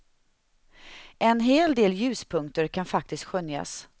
En hel del ljuspunkter kan faktiskt skönjas.